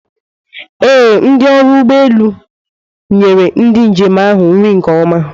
Ee, ndi ọrụ nri ụgbọ elu nyere ndị njem ahụ nri nke ọma.